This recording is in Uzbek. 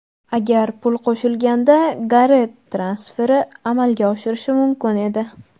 Agar pul qo‘shilganda, Garet transferi amalga oshishi mumkin edi.